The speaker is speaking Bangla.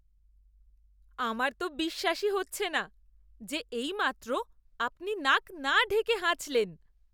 আমার তো বিশ্বাসই হচ্ছে না যে এইমাত্র আপনি নাক না ঢেকে হাঁচলেন!